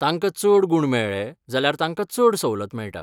तांकां चड गूण मेळ्ळे जाल्यार तांकां चड सवलत मेळटा.